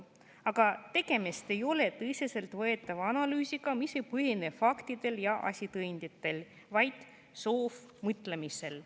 Aga tegemist ei ole tõsiseltvõetava analüüsiga, see ei põhine mitte faktidel ja asitõenditel, vaid soovmõtlemisel.